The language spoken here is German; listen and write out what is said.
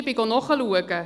Ich habe nachgeschaut: